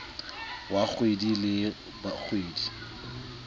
wa kgwedi le kgwedi o